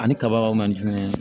Ani kabaw manjurun ye